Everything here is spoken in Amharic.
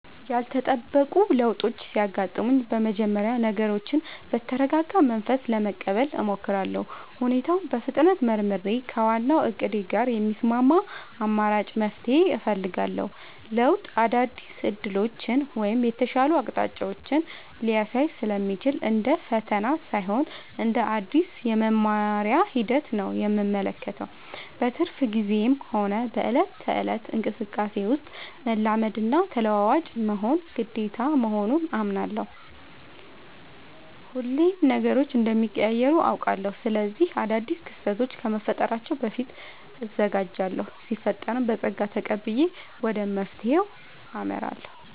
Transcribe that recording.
ያልተጠበቁ ለውጦች ሲያጋጥሙኝ በመጀመሪያ ነገሮችን በተረጋጋ መንፈስ ለመቀበል እሞክራለሁ። ሁኔታውን በፍጥነት መርምሬ፣ ከዋናው እቅዴ ጋር የሚስማማ አማራጭ መፍትሄ እፈልጋለሁ። ለውጥ አዳዲስ ዕድሎችን ወይም የተሻሉ አቅጣጫዎችን ሊያሳይ ስለሚችል፣ እንደ ፈተና ሳይሆን እንደ አዲስ የመማሪያ ሂደት ነው የምመለከተው። በትርፍ ጊዜዬም ሆነ በዕለት ተዕለት እንቅስቃሴዬ ውስጥ፣ መላመድና ተለዋዋጭ መሆን ግዴታ መሆኑን አምናለሁ። ሁሌም ነገሮች እንደሚቀያየሩ አውቃለሁ። ስለዚህ አዳዲስ ክስተቶች ከመፈጠራቸው በፊት እዘጋጃለሁ ሲፈጠርም በፀጋ ተቀብዬ ወደ መፍትሄው አመራለሁ።